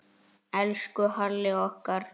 Elsku Halli okkar allra.